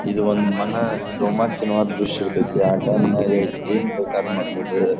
ಇದು ಒಂದು ಮನ ರೋಮಾಂಚನವಾದ ದೃಶ್ಯ ಇರ್ತೈತಿ ಆ ಟೈಮ್ ನಾಗ ಏನ್ ಬೇಕಾರು ಮಾಡ್ಬೋದ.